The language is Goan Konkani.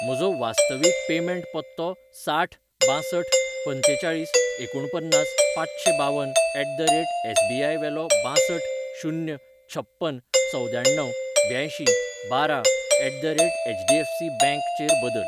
म्हजो वास्तवीकपेमेंट पत्तो साठ बांसठ पंचेचाळीस एकुणपन्नास पांचशें बावन एट द रेट एसबीाय वेलो बांसठ शून्य छप्पन चवद्याण्णव ब्यांयशीं बारा ऍट द रेट एचडीएफसीबँक चेर बदल.